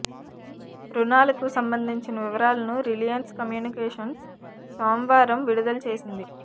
రుణాలకు సంబంధించిన వివరాలను రిలయన్స్ కమ్యూనికేషన్స్ సోమవారం విడుదల చేసింది